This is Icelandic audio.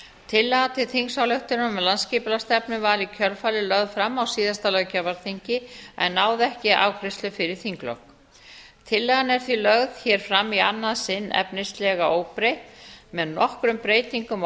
tillaga til þingsályktunar um landsskipulagsstefnu var í kjölfarið lögð fram á síðasta löggjafarþingi en náði ekki afgreiðslu fyrir þinglok tillagan er því lögð hér fram í annað sinn efnislega óbreytt með nokkrum breytingum á athugasemdum